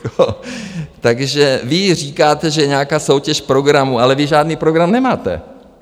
Takže vy říkáte, že je nějaká soutěž programů, ale vy žádný program nemáte.